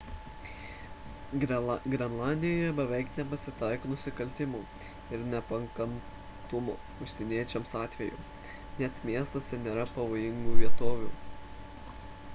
grenlandijoje beveik nepasitaiko nusikaltimų ir nepakantumo užsieniečiams atvejų net miestuose nėra pavojingų vietovių